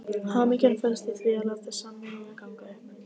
Hamingjan felst í því að láta samvinnuna ganga upp.